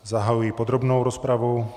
Zahajuji podrobnou rozpravu.